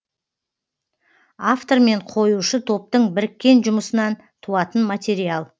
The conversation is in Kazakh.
автор мен қоюшы топтың біріккен жұмысынан туатын материал